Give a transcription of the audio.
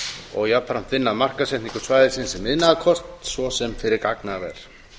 og jafnframt vinna að markaðssetningu svæðisins sem iðnaðarkosts svo sem fyrir gagnaver